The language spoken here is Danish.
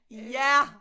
Ja